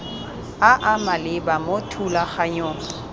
a a maleba mo thulaganyong